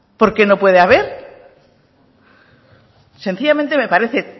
por qué no puede haber sencillamente me parece